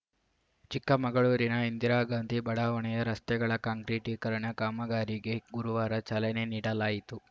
ಚಿಕ್ಕಮಗಳೂರಿನ ಇಂದಿರಾಗಾಂಧಿ ಬಡಾವಣೆಯ ರಸ್ತೆಗಳ ಕಾಂಕ್ರೀಟಿಕರಣ ಕಾಮಗಾರಿಗೆ ಗುರುವಾರ ಚಾಲನೆ ನೀಡಲಾಯಿತು